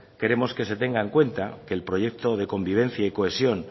queremos que se tenga en cuenta que el proyecto de convivencia y cohesión